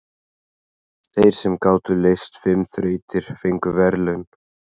Þeir sem gátu leyst fimm þrautir fengu verðlaun.